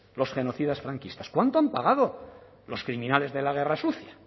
los genocidas franquistas cuánto han pagado los criminales de la guerra sucia